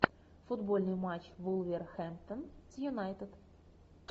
футбольный матч вулверхэмптон с юнайтед